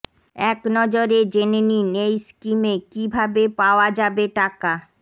একনজরে জেনে নিন এই স্কিমে কী ভাবে পাওয়া যাবে টাকা